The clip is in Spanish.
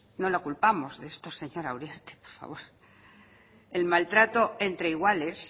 no la culpamos de esto señora uriarte el maltrato entre iguales